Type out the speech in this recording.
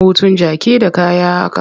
Hutun jaki da kaya a ka.